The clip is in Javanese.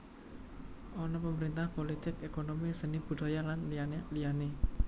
Ana pemerintahan polotik ékonomi seni budhaya lan liyane liyane